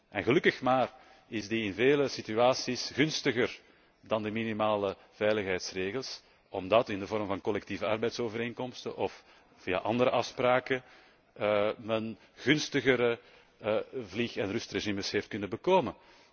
En gelukkig maar is die in vele situaties gunstiger dan de minimale veiligheidsregels, omdat men in de vorm van collectieve arbeidsovereenkomsten of via andere afspraken gunstigere vlieg en rustregelingen heeft verkregen.